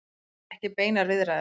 Vilja ekki beinar viðræður